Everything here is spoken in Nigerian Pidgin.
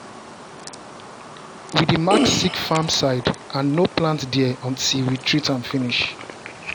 we dey mark sick farm side and no plant there until we treat am finish.